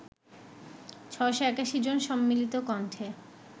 ৬৮১ জন সম্মিলিত কণ্ঠে